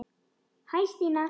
Hæ Stína